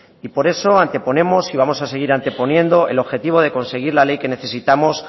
y por eso anteponemos y vamos a seguir anteponiendo el objetivo de conseguir la ley que necesitamos